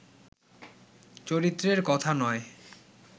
চরিত্রের কথা নয়